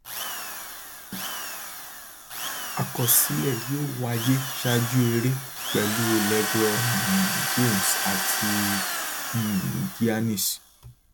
àkọsílẹ yóò wáyé ṣáájú eré pẹlú lebron um james àti um giannis